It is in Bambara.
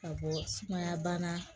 Ka bɔ sumaya bana